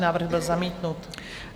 Návrh byl zamítnut.